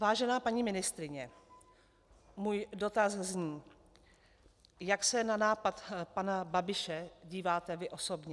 Vážená paní ministryně, můj dotaz zní: Jak se na nápad pana Babiše díváte vy osobně?